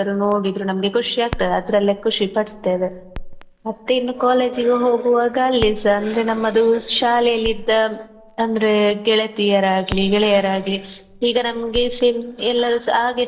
ನೋಡಿದ್ರು ನಮ್ಗೆ ಖುಷಿಯಾಗ್ತದೆ ಅದ್ರಲ್ಲೆ ಖುಷಿಪಡ್ತೇವೆ ಮತ್ತೇ ಇನ್ನು college ಗೆ ಹೋಗುವಾಗ ಅಲ್ಲಿ ಸ ನಮ್ಮದು ಶಾಲೆಯಲ್ಲಿದ್ದ ಅಂದ್ರೆ ಗೆಳತಿಯರಾಗ್ಲಿ ಗೆಳೆಯರಾಗ್ಲಿ ಈಗ ನಮ್ಗೆ ಎಲ್ಲರೂ ಸಹ ಹಾಗೆ.